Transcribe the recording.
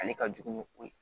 Ale ka jugu ni o ye